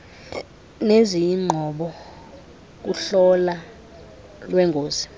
neziyingqobo kuhlolo lweengozi